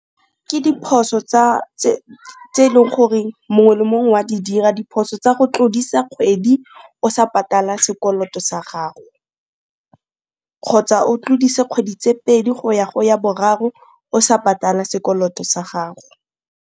Ke diphoso tse e leng gore mongwe le mongwe wa di dira, diphoso tsa go tlodisa kgwedi o sa patala sekoloto sa gago kgotsa o tlodise kgwedi tse pedi go ya go ya boraro o sa patala sekoloto sa gago.